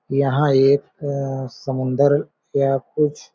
यहाँ एक अ समुन्दर या कुछ--